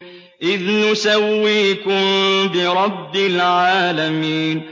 إِذْ نُسَوِّيكُم بِرَبِّ الْعَالَمِينَ